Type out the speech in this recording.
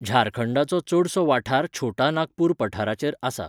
झारखंडाचो चडसो वाठार छोटा नागपूर पठाराचेर आसा.